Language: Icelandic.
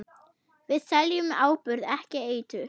Við seljum áburð, ekki eitur.